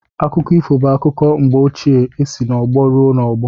Akụkọ ifo bụ akụkọ mgbe ochie e si n’ọgbọ ruo n'ọgbọ